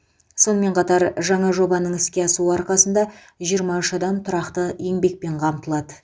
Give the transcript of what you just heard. сонымен қатар жаңа жобаның іске асуы арқасында жиырма үш адам тұрақты еңбекпен қамтылады